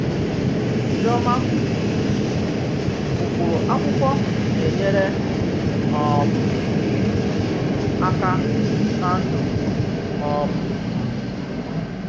Chíòmà kwùrù: Ụ́kpụrụ̀ àkwụ́kwọ̀ nà-ényèrè um m àkà nà ndú um m.